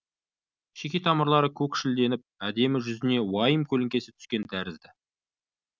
шеке тамырлары көкшілденіп әдемі жүзіне уайым көлеңкесі түскен тәрізді